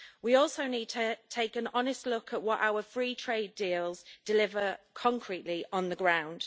We also need to take an honest look at what our free trade deals deliver concretely on the ground.